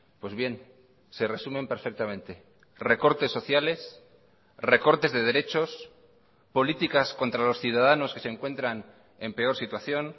pues bien se resumen perfectamente recortes sociales recortes de derechos políticas contra los ciudadanos que se encuentran en peor situación